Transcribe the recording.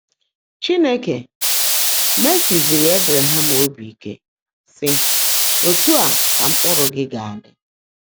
Chínekè mèèsị́zìrì Ébrẹ̀hám óbí íke, sị́: “Ótú á kà mkpụ́rụ́ gị́ gá-ádị́.”